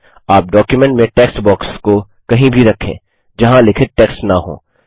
आप डॉक्युमेंट में text box को कहीं भी रखें जहाँ लिखित टेक्स्ट न हो